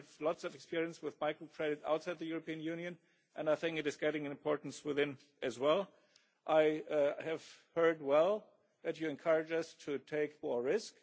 We have lots of experience with microcredit outside the European Union and I think it is gaining in importance within it as well. I have heard well that you encourage us to take more risk.